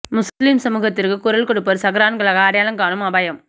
முஸ்லிம் சமூகத்திற்கு குரல் கொடுப்போர் சஹ்ரான்களாக அடையாளம் காணும் அபாயம்